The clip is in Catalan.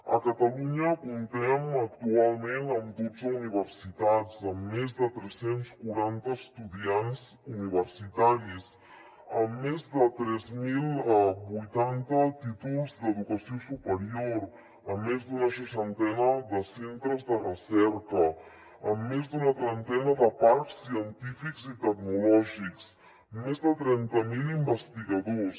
a catalunya comptem actualment amb dotze universitats amb més de tres cents i quaranta miler estudiants universitaris amb més de tres mil vuitanta títols d’educació superior amb més d’una seixantena de centres de recerca amb més d’una trentena de parcs científics i tecnològics més de trenta mil investigadors